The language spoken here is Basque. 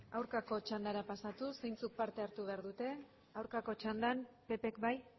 aurkakako txandara pasatuz zeintzuk parte hartu behar dute aurkako txandan ppk bai